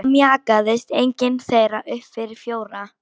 Það mjakaðist engin þeirra upp fyrir fjóra.